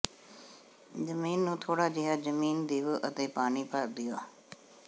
ਜ਼ਮੀਨ ਨੂੰ ਥੋੜਾ ਜਿਹਾ ਜ਼ਮੀਨ ਦੇਵੋ ਅਤੇ ਪਾਣੀ ਭਰ ਦਿਓ